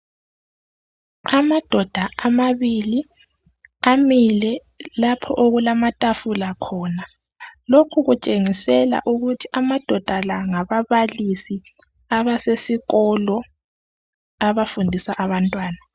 Amadoda amabili amile lapho okulamatafula khona lokhu kutshengisela ukuthi amadoda la ngababalisi abasesikolo abafundisa abantwana.